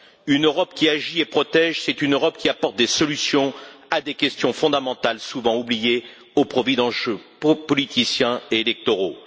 Une Europe qui agit et protège, c'est une Europe qui apporte des solutions à des questions fondamentales, souvent oubliées au profit d'enjeux politiciens et électoraux.